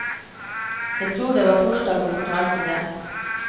Jeg tror det var torsdag hun fortalte det.